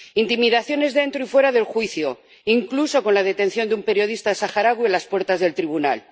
Intimidaciones dentro y fuera del juicio, incluso con la detención de un periodista saharaui a las puertas del tribunal.